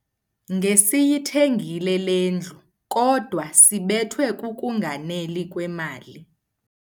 Ngesiyithengile le ndlu kodwa sibethwe kukunganeli kwemali.